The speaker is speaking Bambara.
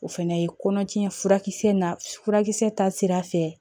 O fɛnɛ ye kɔnɔtiɲɛ furakisɛ na furakisɛ ta sira fɛ